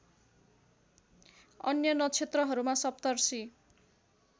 अन्य नक्षत्रहरूमा सप्तर्षि